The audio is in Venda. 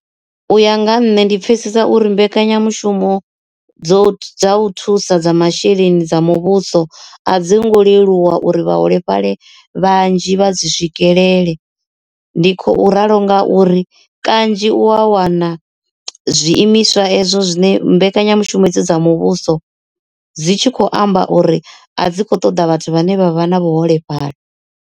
U ya nga ha nṋe ndi pfhesesa uri mbekanyamushumo dzo dza u thusa dza masheleni dza muvhuso a dzi ngo leluwa uri vhaholefhali vhanzhi vha dzi swikelele ndi khou ralo ngauri kanzhi u a wana zwiimiswa ezwo zwine mbekanyamushumo hedzi dza muvhuso dzi tshi khou amba uri a dzi kho ṱoḓa vhathu vhane vha vha na vhuholefhali.